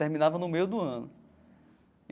Terminava no meio do ano.